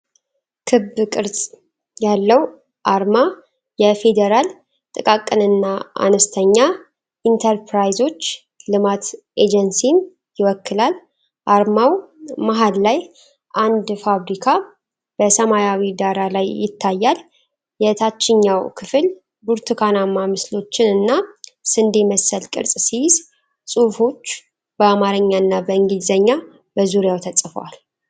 ክብ ቅርጽ ያለው አርማ የፌዴራል ጥቃቅንና አነስተኛ ኢንተርፕራይዞች ልማት ኤጀንሲን ይወክላል። አርማው መሃል ላይ አንድ ፋብሪካ በሰማያዊ ዳራ ላይ ይታያል። የታችኛው ክፍል ብርቱካናማ ምስሎችን እና ስንዴ መሰል ቅርጽ ሲይዝ፣ ጽሑፎች በአማርኛና በእንግሊዝኛ በዙሪያው ተጽፈዋል።